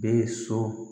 Bɛ so